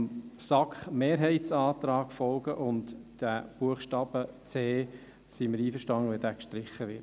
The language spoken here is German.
Deshalb folgen wir dem SAK-Mehrheitsantrag und sind einverstanden, wenn der Buchstabe c gestrichen wird.